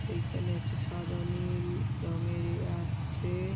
এইখানে এটটি সাদা নীল রঙের এ আছে।